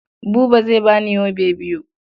Buba zai ba ni yobe biyu.